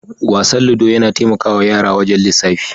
Wasan "ludo" yana taimakawa yara wajen lisafi.